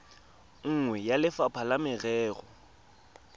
nngwe ya lefapha la merero